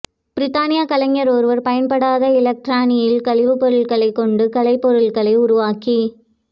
பிரித்தானிய கலைஞர் ஒருவர் பயன்படாத இலத்திரனியல் கழிவுப் பொருட்களைக் கொண்டு கலைப் பொருட்களை உருவாக்கி